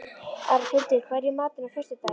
Arnhildur, hvað er í matinn á föstudaginn?